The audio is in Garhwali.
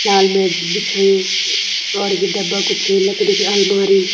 लाल मैट भी बिछायुं और यु डब्बा कुछ लकड़ी की आलमारी।